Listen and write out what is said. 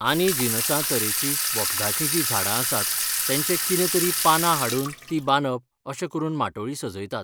आनी जिनसां तरेची वखदाचीं जी झाडां आसात तेंचें कितें तरी पानां हाडुन ती बांदप अशें करून माटोळी सजयतात